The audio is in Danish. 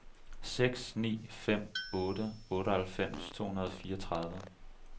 seks ni fem otte otteoghalvfems to hundrede og fireogtredive